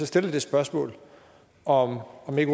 stille det spørgsmål om om ikke